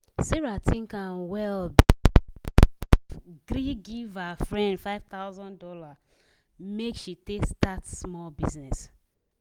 sarah think am well before she gree give gree give her friend five thousand dollars make she take start small business.